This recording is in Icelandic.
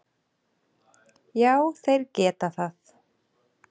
Já þeir geta það.